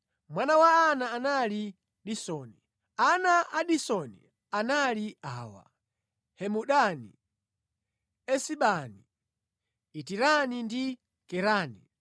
Mwana wa Ana anali Disoni. Ana a Disoni anali awa: Hemudani, Esibani, Itirani ndi Kerani